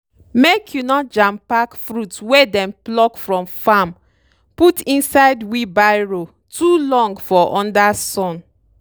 make you no jampack fruit wey dem pluck from farm put inside wheelbarrow too long for under under sun.